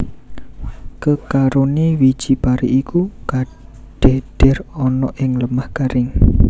Kekarone wiji pari iku kadhedher ana ing lemah garing